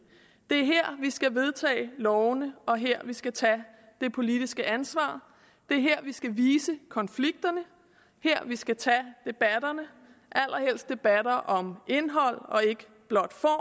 er her vi skal vedtage lovene og her vi skal tage det politiske ansvar det er her vi skal vise konflikterne og her vi skal tage debatterne allerhelst debatter om indhold og ikke blot